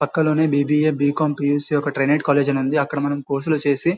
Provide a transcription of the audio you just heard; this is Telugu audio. పక్కనే లోనే బి_బి_ఎ బీకాం బీఎస్సీ ఒక ట్రైనేట్ కాలేజ్ అని ఉంది. అక్కడ మనం కోర్స్ లు వచ్చేసి --